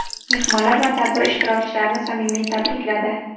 mehmonlar va tadbir ishtirokchilarini samimiy tabrikladi.